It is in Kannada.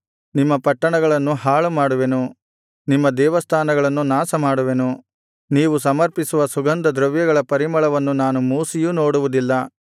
ನಿಮ್ಮ ಪಟ್ಟಣಗಳನ್ನು ಹಾಳುಮಾಡುವೆನು ನಿಮ್ಮ ದೇವಸ್ಥಾನಗಳನ್ನು ನಾಶಮಾಡುವೆನು ನೀವು ಸಮರ್ಪಿಸುವ ಸುಗಂಧದ್ರವ್ಯಗಳ ಪರಿಮಳವನ್ನು ನಾನು ಮೂಸಿಯೂ ನೋಡುವುದಿಲ್ಲ